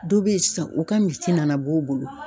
Dɔ bɛ yen san u ka misi nana b'u bolo.